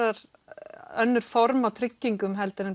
önnur form af tryggingum en